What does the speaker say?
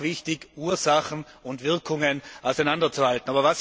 Es ist auch wichtig, Ursachen und Wirkungen auseinanderzuhalten.